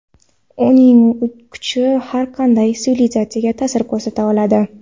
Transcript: Uning kuchi har qanday sivilizatsiyaga ta’sir ko‘rsata oladi.